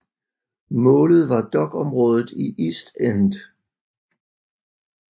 Målet var dokområdet i East End